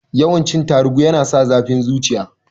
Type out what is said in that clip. Yawan cin tarugu yana sa zafin zuciya